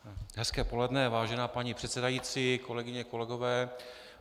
Hezké poledne, vážená paní předsedající, kolegyně, kolegové.